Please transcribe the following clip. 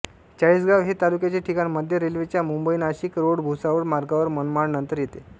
चाळीसगांव हे तालुक्याचे ठिकाण मध्य रेल्वेच्या मुंबईनाशिक रोडभुसावळ मार्गावर मनमाडनंतर येते